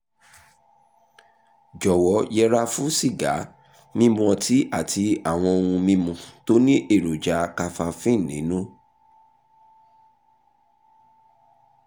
jọwọ yẹra fún sìgá mímu ọtí àti àwọn ohun mímu tó ní èròjà kafafíìnì nínú